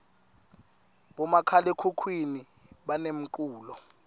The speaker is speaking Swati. bomakhalakhukhuni banemculo